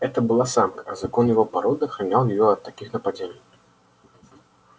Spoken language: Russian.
это была самка а закон его породы охранял её от таких нападений